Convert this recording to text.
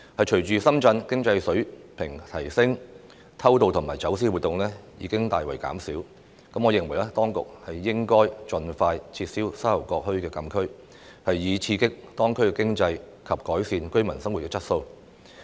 隨着深圳經濟水平提升，偷渡及走私活動已大為減少，我認為當局應盡快撤銷沙頭角墟禁區，以刺激當區經濟及改善居民生活質素。